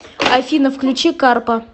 афина включи карпа